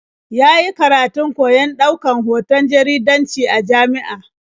Ya yi karatun koyon ɗaukan hoton jaridanci a jami'a.